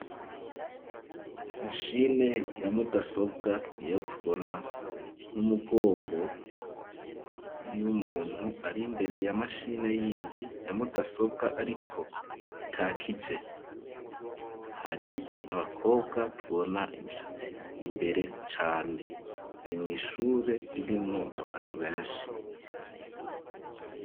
Mashine ya mudasobwa niyo tubona n'umugongo y'umuntu ari mbere ya mashine yindi yamudasobwa ariko itakije hari n'abakobwa tubona imishatsi imbere cane hari mw'ishure ririmwo abantu beshi.